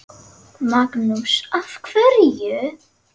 Magnús: Af hverju?